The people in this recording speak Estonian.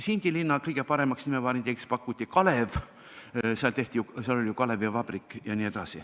Sindi linna kõige paremaks nimevariandiks pakuti Kalev, seal oli ju kalevivabrik.